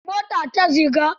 A tashar mota ta Ziga.